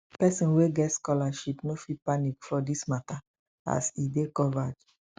persin wey get scholarship no fit panic for dis mata as e dey covered